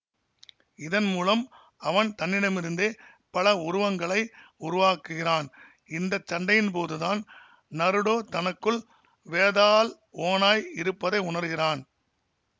இதன் மூலம் அவன் தன்னிடமிருந்தே பல உருவங்களை உருவாக்குகிறான் இந்த சண்டையின்போதுதான் நருடோ தனக்குள் வேதாள் ஓநாய் இருப்பதை உணர்கிறான்